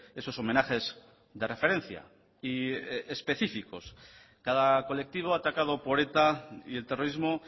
esos homenajes de referencia y específicos cada colectivo atacado por eta y el terrorismo